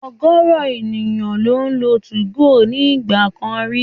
Ọ̀gọ̀rọ̀ èèyàn ló lo 2go ní ìgbà kan rí